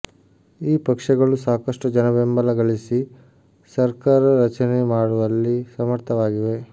ಈ ಪಕ್ಷಗಳು ಸಾಕಷ್ಟು ಜನಬೆಂಬಲ ಗಳಿಸಿ ಸಕರ್ಾರ ರಚನೆ ಮಾಡುವಲ್ಲಿ ಸಮರ್ಥವಾಗಿವೆ